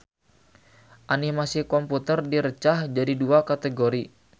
Animasi komputer direcah jadi dua kategori.